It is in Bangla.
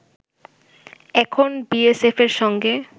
এখন বিএসএফ'র সঙ্গে